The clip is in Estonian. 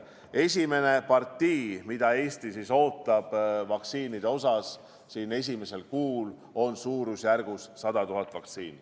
Esimene partii, mida Eesti ootab esimesel kuul, on suurusjärgus 100 000 vaktsiini.